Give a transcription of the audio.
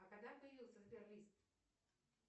а когда появился сбер лист